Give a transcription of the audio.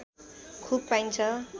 खुब पाइन्छ